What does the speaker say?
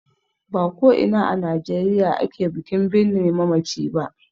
Ba ko ina a Najeriya ake bikin birne mamaci ba.